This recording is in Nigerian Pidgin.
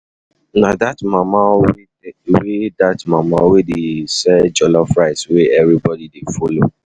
Na dat mama wey dey sell? jollof rice wey everybody dey follow.